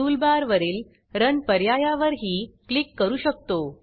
टूलबारवरील रन पर्यायावरही क्लिक करू शकतो